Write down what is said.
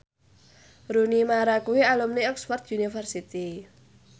Rooney Mara kuwi alumni Oxford university